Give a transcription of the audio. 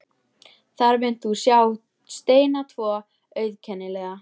Þar munt þú sjá steina tvo, auðkennilega.